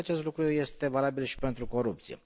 Cred că acest lucru este valabil și pentru corupție.